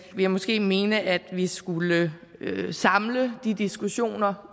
jeg måske mene at vi skulle samle de diskussioner